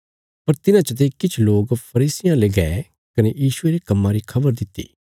पर तिन्हां चते किछ लोक फरीसियां ले गै कने यीशुये रे कम्मा री खबर दित्ति